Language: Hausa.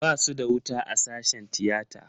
Basu da wuta a sashen tiyata.